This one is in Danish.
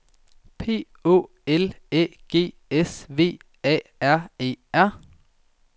P Å L Æ G S V A R E R